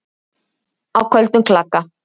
Á köldum klaka